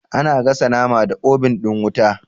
Ana gasa nama da obun ɗin wuta